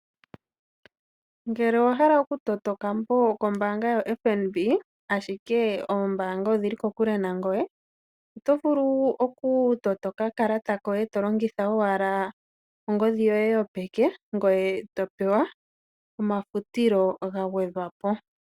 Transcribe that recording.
Ngele owahala okutota okambo kombaanga yoFNB ashike oombaanga odhili kokule nangoye, oto vulu okutota okakalata koye tolongitha ongodhi yoye yopeke ngoye topewa omafutilo gagwedhwa po.